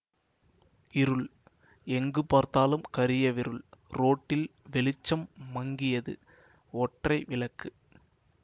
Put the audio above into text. இருள் எங்கு பார்த்தாலும் கரியவிருள் ரோட்டில் வெளிச்சம் மங்கியது ஒற்றை விளக்கு